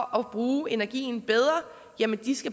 at bruge energien bedre